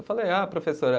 Eu falei, ah, professora.